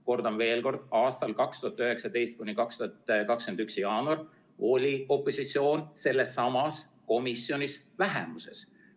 Kordan veel: 2019–2021 jaanuar oli opositsioon sellessamas komisjonis vähemuses.